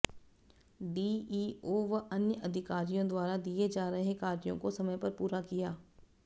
DEO व अन्य अधिकारियों द्वारा दिए जा रहे कार्यों को समय पर पूरा किया